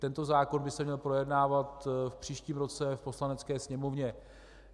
Tento zákon by se měl projednávat v příštím roce v Poslanecké sněmovně.